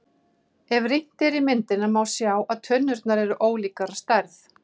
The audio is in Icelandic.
Ef rýnt er í myndina er má sjá að tunnurnar eru ólíkar að stærð.